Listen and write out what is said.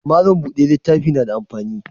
Mallam bude littafi na da amfani?